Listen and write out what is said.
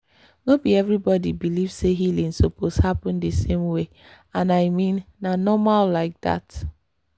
no be everybody believe say healing suppose happen the same way and i mean na normal like that.